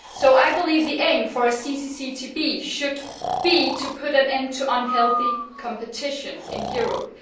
I believe the aim of a CCCTB should be to put an end to unhealthy competition in Europe.